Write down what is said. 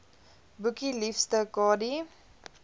boekie liefste kadie